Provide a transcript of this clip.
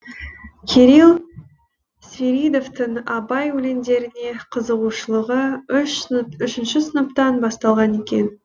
кирилл свиридовтың абай өлеңдеріне қызығушылығы үшінші сыныптан басталған екен